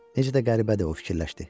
Necə də qəribədir o fikirləşdi.